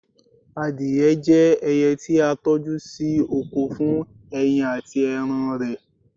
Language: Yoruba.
adìye je ẹyẹ ti a toju sí oko fún ẹyin ati eran rẹ